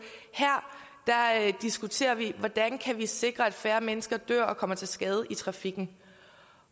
her diskuterer vi hvordan vi kan sikre at færre mennesker dør og kommer til skade i trafikken